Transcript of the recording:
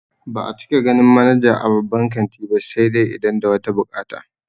Ba'a cika ganin manaja a babban kanti ba sai dai idan da wata buƙata